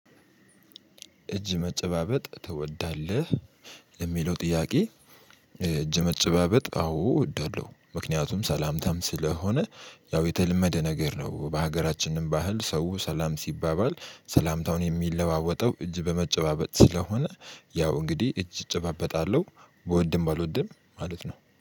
እጅ መጨባበጥ ትወዳለህ የሚለው ጥያቄ? እጅ መጨባበጥ አዎ እወዳለሁ። ምክንያቱም ሰላምታም ስለሆነ ያው የተለመደ ነገር ነው። በሀገራችንም ባህል ሰው ሰላም ሲባባል ሰላምታውን የሚለዋወጠው እጅ በመጨባበጥ ስለሆነ። ያው እንግዲህ እጅ እጨባበጣለሁ ብወድም ባልወድም ማለት ነው